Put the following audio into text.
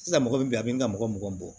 Sisan mɔgɔ min bɛ yan a bɛ n ka mɔgɔ mugan bɔ